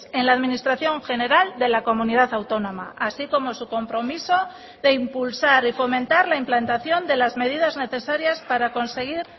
en la administración general de la comunidad autónoma así como su compromiso de impulsar y fomentar la implantación de las medidas necesarias para conseguir